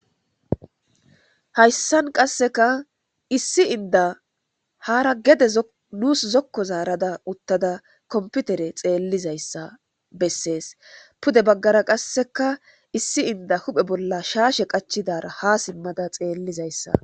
hayssan qasseka issi inda haara gede nuus zokko zaarada uttada komputere xeellizayssa bessees pude baggara qasseka issi inda huphe bolla shaashe qachidara ha simmada xeellizayssa